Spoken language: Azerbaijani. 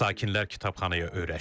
Sakinlər kitabxanaya öyrəşib.